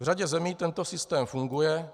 V řadě zemí tento systém funguje.